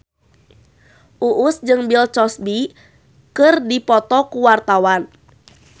Uus jeung Bill Cosby keur dipoto ku wartawan